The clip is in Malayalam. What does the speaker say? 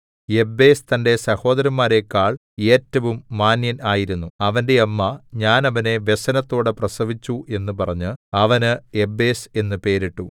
യബ്ബേസ് തന്റെ സഹോദരന്മാരെക്കാൾ ഏറ്റവും മാന്യൻ ആയിരുന്നു അവന്റെ അമ്മ ഞാൻ അവനെ വ്യസനത്തോടെ പ്രസവിച്ചു എന്ന് പറഞ്ഞ് അവന് യബ്ബേസ് എന്നു പേരിട്ടു